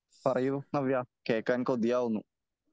പറയൂ നവ്യ കേളക്കാൻ കൊതിയാവുന്നു .